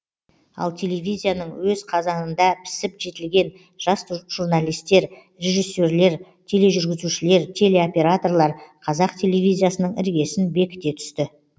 ал телевизияның өз қазаныңда пісіп жетілген жас журналистер режиссерлер тележүргізушілер телеоператорлар қазақ телевизиясының іргесін бекіте түсті